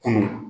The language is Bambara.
Kunun